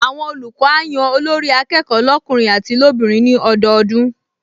Àwọn olùkọ́ á yan Olórí-akẹ́kọ̀ọ́ lọ́kùnrin àti lóbìnrin ní ọdọọdún